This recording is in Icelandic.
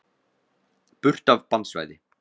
Burt af bannsvæði.